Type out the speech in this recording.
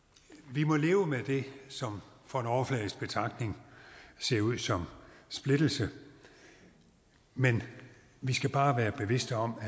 vi må leve med det som for en overfladisk betragtning ser ud som splittelse men vi skal bare være bevidste om at